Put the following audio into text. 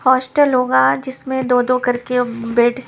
hostel होगा जिसमें दो-दो करके एम बेड --